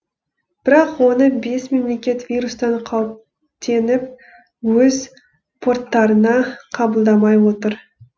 бірақ оны бес мемлекет вирустан қауіптеніп өз порттарына қабылдамай отыр